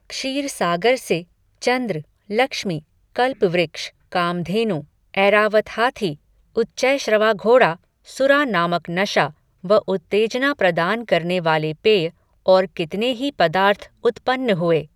क्षीर सागर से, चंद्र, लक्ष्मी, कल्पवृक्ष, कामधेनु, ऐरावत हाथी, उच्चैश्रवा घोड़ा, सुरा नामक नशा, व उत्तेजना प्रदान करने वाले पेय, और कितने ही पदार्थ उत्पन्न हुए